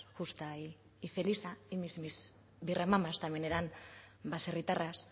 justa y felisa y mis birramamas también eran baserritarras